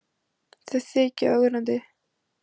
Þau þykja ögrandi.